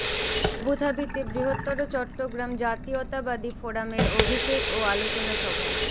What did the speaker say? আবুধাবীতে বৃহত্তর চট্টগ্রাম জাতীয়তাবাদী ফোরামের অভিষেক ও আলোচনা সভা